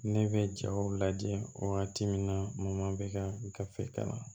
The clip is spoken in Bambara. Ne bɛ jaw lajɛ wagati min na bɛ ka gafe kalan